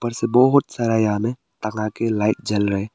ऊपर से बहोत सारा यहां में टंगाके लाइट जल रहे--